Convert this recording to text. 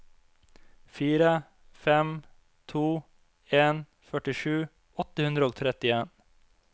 fire fem to en førtisju åtte hundre og trettien